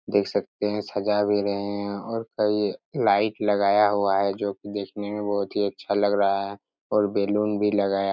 देख सकते हैं सजा भी रहे हैं और कई लाइट लगाया हुआ हैं जो की देखने में बहुत ही अच्छा लग रहा हैं और बैलून भी लगाया।